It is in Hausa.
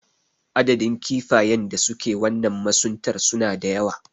Adadin kifayen da suke wannan masuntar suna da yawa.